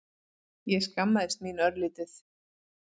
Ég skammaðist mín örlítið.